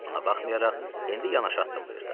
Buna baxmayaraq, indi yanaş addımlayırdıq.